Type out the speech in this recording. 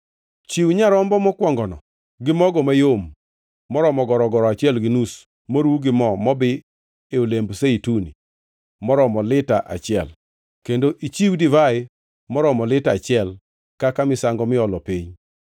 Chiw nyarombo mokwongono gi mogo mayom moromo gorogoro achiel gi nus moruw gi mo mobi e olemb zeituni moromo lita achiel, kendo ichiw divai moromo lita achiel kaka misango miolo piny